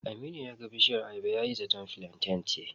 Aminu ya ga bishiyar ayaba yayi zaton filanten ce.